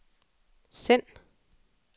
send